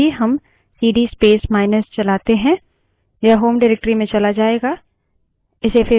तो यदि हम सीडी space माइनस चलाते हैं यह home directory में चला जायेगा